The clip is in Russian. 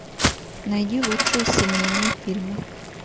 найди лучшие семейные фильмы